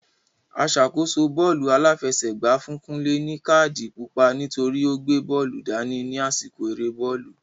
Aṣàkóso bọ́ọ́lù aláfẹsẹ̀gbá fún Kunle ní káàdì pupa nítorí o gbé bóòlù dání ní àsìkò eré bọ́ọ̀lù.